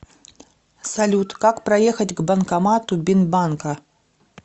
салют как проехать к банкомату бинбанка